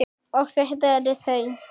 Og þetta eru þau.